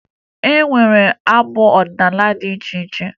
E nwere abụ ọdịnaala dị iche iche